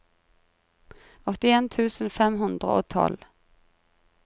åttien tusen fem hundre og tolv